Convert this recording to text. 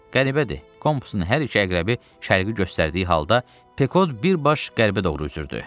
Qəribədir, kompusun hər iki əqrəbi şərqi göstərdiyi halda, Pekod birbaşa qərbə doğru üzürdü.